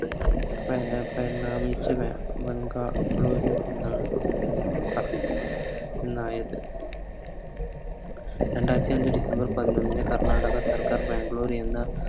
രണ്ടായിരത്തിയഞ്ച് December പതിനൊന്നിന്ന് കർണ്ണാടക സർക്കാർ ബാംഗ്ലൂർ എന്ന